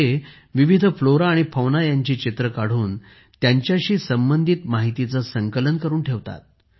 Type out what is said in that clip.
ते विविध फ्लोरा आणि फौना यांची चित्रे काढून त्यांच्याशी संबंधित माहितीचे संकलन करुन ठेवतात